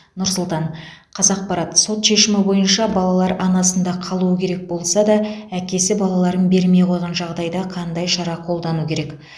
нұр сұлтан қазақпарат сот шешімі бойынша балалар анасында қалуы керек болса да әкесі балаларын бермей қойған жағдайда қандай шара қолдану керек